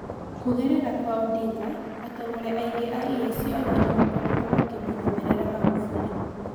Kũgerera kwa Odinga, atongoria angi a EAC onao nimakoretwo makimũrũmĩrĩra Magufuli